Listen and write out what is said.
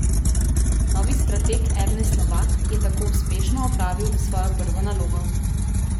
Novi strateg Ernest Novak je tako uspešno opravil svojo prvo nalogo.